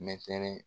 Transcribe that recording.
Mɛtɛrɛ